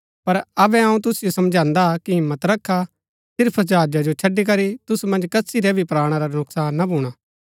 पर अबै अऊँ तुसिओ समझांदा कि हिम्मत रखा सिर्फ जहाजा जो छड़ी करी तुसु मन्ज कसी रै भी प्राणा रा नुकसान ना भूणा